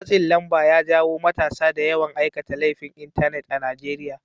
Matsin lamba ya jawo matasa da yawan aikata laifin Intanet a Najeriya